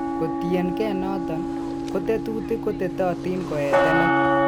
Kotienkee noton, ko tetutik kotetotin koeetenech.